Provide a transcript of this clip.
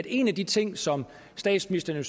en af de ting som statsministeren